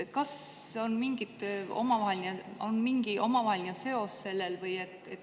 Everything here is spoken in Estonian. Kas nendel on mingi omavaheline seos?